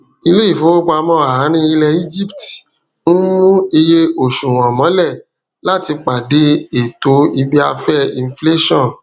iléifowopamọ àárín ilẹ egypt ń mú iye oṣuwọn mọlẹ láti pàdé ètò ibiafẹ inflẹṣọn